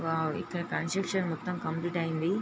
Wow ఇక్కడ construction మొత్తం complete అయింది.